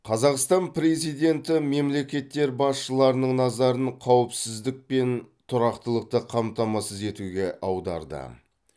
қазақстан президенті мемлекеттер басшыларының назарын қауіпсіздік пен тұрақтылықты қамтамасыз етуге аударды